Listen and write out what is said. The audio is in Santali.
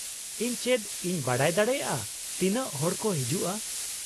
ᱤᱧ ᱪᱮᱫ ᱤᱧ ᱵᱟᱰᱟᱭ ᱫᱟᱲᱮᱭᱟᱜᱼᱟ ᱛᱤᱱᱟᱹᱜ ᱦᱚᱲ ᱠᱚ ᱦᱤᱡᱩᱜᱼᱟ ?